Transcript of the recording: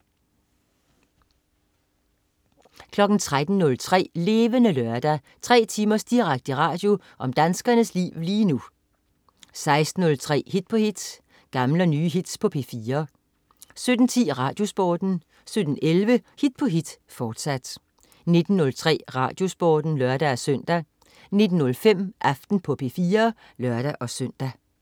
13.03 Levende Lørdag. Tre timers direkte radio om danskernes liv lige nu 16.03 Hit på hit. Gamle og nye hits på P4 17.10 RadioSporten 17.11 Hit på hit, fortsat 19.03 RadioSporten (lør-søn) 19.05 Aften på P4 (lør-søn)